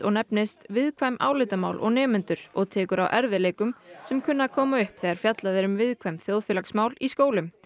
nefnist viðkvæm álitamál og nemendur og tekur á erfiðleikum sem kunna að koma upp þegar fjallað er um viðkvæm þjóðfélagsmál í skólum